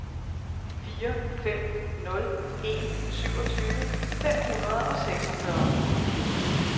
fire fem nul en syvogtyve fem hundrede og seksogfyrre